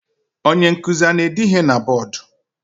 Onye nkuzi ana-ede ihe na bọdụ?